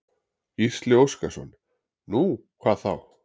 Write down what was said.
Gísli Óskarsson: Nú, hvað þá?